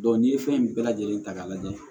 n'i ye fɛn bɛɛ lajɛlen ta k'a lajɛ